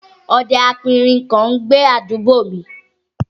Ọdẹ aperin kan ń gbé àdúgbò mi